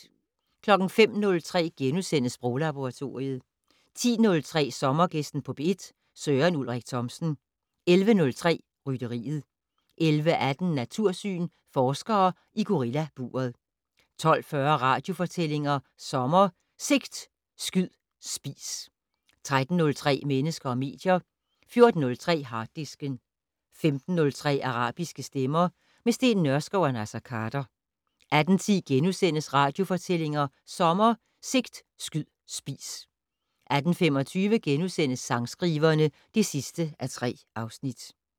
05:03: Sproglaboratoriet * 10:03: Sommergæsten på P1: Søren Ulrik Thomsen 11:03: Rytteriet 11:18: Natursyn: Forskere i gorillaburet 12:40: Radiofortællinger sommer: Sigt, skyd, spis 13:03: Mennesker og medier 14:03: Harddisken 15:03: Arabiske stemmer - med Steen Nørskov og Naser Khader 18:10: Radiofortællinger sommer: Sigt, skyd, spis * 18:25: Sangskriverne (3:3)*